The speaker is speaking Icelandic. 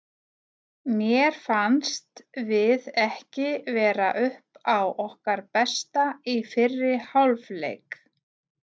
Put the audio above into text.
Mér fannst við ekki vera upp á okkar besta í fyrri hálf leik.